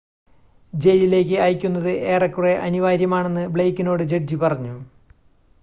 "ജയിലിലേക്ക് അയയ്ക്കുന്നത് "ഏറെക്കുറെ അനിവാര്യമാണെന്ന്" ബ്ലെയ്ക്കിനോട് ജഡ്ജി പറഞ്ഞു.